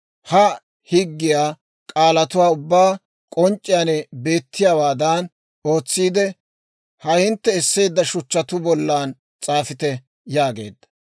Ha higgiyaa k'aalatuwaa ubbaa k'onc'c'iyaan beettiyaawaadan ootsiide, ha hintte esseedda shuchchatuu bolla s'aafite» yaageedda.